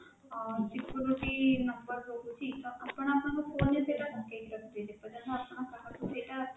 ଅଁ security number ରହୁଛି ତ ଆପଣ ଆପଣଙ୍କ phone ରେ ସେଇଟା ପକେଇକି ରଖିପାରିବେ ଯେପର୍ଯ୍ୟନ୍ତ କାହାକୁ ସେଇଟା